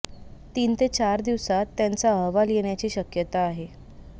तीन ते चार दिवसांत त्याचा अहवाल येण्याची शक्यता आहे